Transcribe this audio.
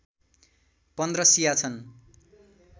१५ शिया छन्